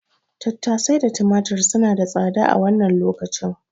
Tattasai da tumatir suna ta tsada a wannan lokacin.